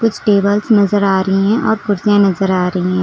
कुछ टेबल्स नजर आ रही हैं और कुछ कुर्सियां नजर आ रही हैं।